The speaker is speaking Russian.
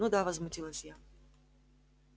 ну да возмутилась я